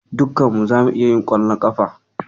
Dukkan mu zamu iya yin ƙwallon ƙafa.